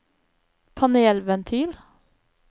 panelventil